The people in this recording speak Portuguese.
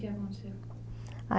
O que que aconteceu?